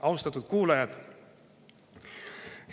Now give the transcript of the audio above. Austatud kuulajad!